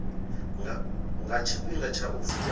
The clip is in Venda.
nga tshifhinga tsha u vula